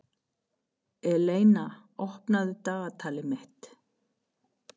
Eleina, opnaðu dagatalið mitt.